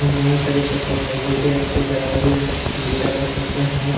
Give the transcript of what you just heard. હું નહીં કરી શકું positive વ્યક્તિ ધરાવતી વિચારે છે કે હું